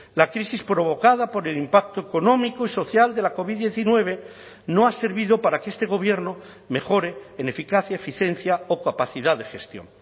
la crisis provocada por el impacto económico y social de la covid diecinueve no ha servido para que este gobierno mejore en eficacia eficiencia o capacidad de gestión